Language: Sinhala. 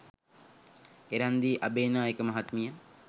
එරන්දි අබේනායක මහත්මිය